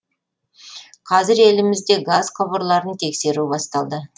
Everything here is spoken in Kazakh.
қазір елімізде газ құбырларын тексеру басталды